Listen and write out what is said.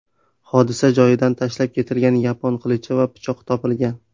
Hodisa joyidan tashlab ketilgan yapon qilichi va pichoq topilgan.